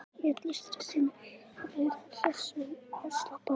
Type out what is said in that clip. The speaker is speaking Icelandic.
Í öllu stressinu að vera hress og afslappaður.